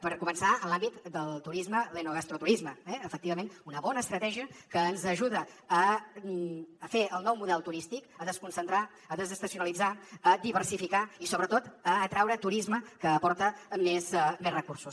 per començar en l’àmbit del turisme l’enogastroturisme eh efectivament una bona estratègia que ens ajuda a fer el nou model turístic a desconcentrar a desestacionalitzar a diversificar i sobretot a atraure turisme que aporta més recursos